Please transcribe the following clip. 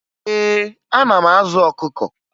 Ee, ana m azụ ọkụkọ